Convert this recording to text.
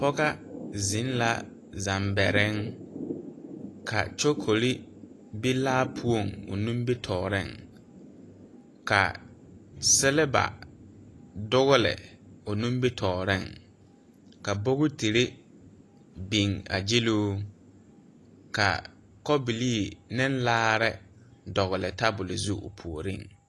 Pɔgɔ zeŋ la zambɛriŋ ka kyokole be laa poɔŋ o nibitooreŋ ka sileba dɔgle o nimbitooreŋ ka bogiterre biŋ a gyiluu ka kobilii ne laare dɔgle tabol zu o puoriŋ.